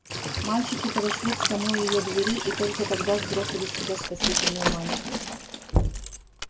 мальчики подошли к самой её двери и только тогда сбросили с себя спасительную мантию